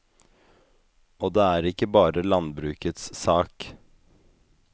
Og det er ikke bare landbrukets sak.